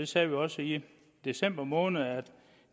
sagde også i december måned at